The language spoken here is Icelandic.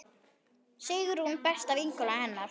Sigrún besta vinkona hennar.